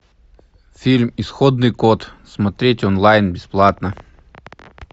фильм исходный код смотреть онлайн бесплатно